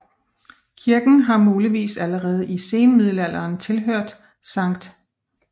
Kirken har muligvis allerede i senmiddelalderen tilhørt Skt